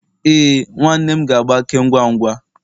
Ee, nwa nwanne m ga-agbake ngwa ngwa